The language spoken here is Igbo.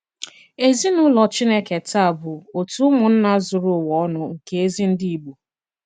Èzìnùlò Chìnékè tàà bụ òtù ùmụ̀nnà zùrù ùwa ònù nke ezi ndị Ìgbò.